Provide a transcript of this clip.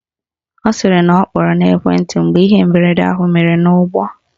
Ọ sịrị na ọ kpọrọ n'ekwenti mgbe ihe mberede ahụ mere n'ụgbọ